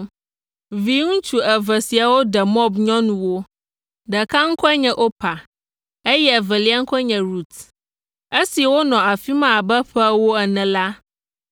Viŋutsu eve siawo ɖe Moab nyɔnuwo; ɖeka ŋkɔe nye Orpa, eye evelia ŋkɔe nye Rut. Esi wonɔ afi ma abe ƒe ewo ene la,